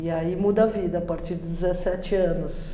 E aí muda a vida a partir dos dezessete anos.